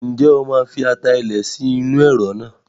Ǹjẹ́ o máa fi ata ilẹ̀ sí inú Ẹ̀rọ̀ náà?